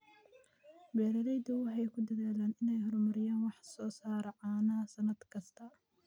Beeraleydu waxay ku dadaalaan inay horumariyaan wax soo saarka caanaha sannad kasta.